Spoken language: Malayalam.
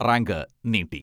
റാങ്ക് നീട്ടി.